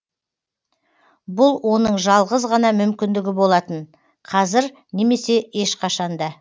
бұл оның жалғыз ғана мүмкіндігі болатын қазір немесе ешқашан да